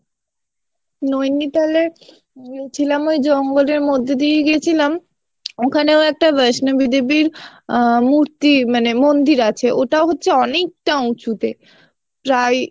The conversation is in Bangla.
নৈনিতালে গেছিলাম ওই জঙ্গলের মধ্য দিয়েই গেছিলাম ওখানেও একটা বৈষ্ণবী দেবীর আহ মূর্তি মানে মন্দির আছে ওটা হচ্ছে অনেক টা উচুতে প্রায়